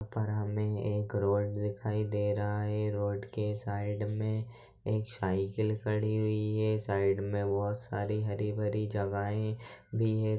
एक रोड दिखाई दे रहा है रोड के साइड मे एक सइकिल खड़ी हुई है साइड मे बहोत सारी हरी भरी जगह भी है।